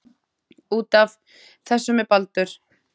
Út af. þessu með Baldur?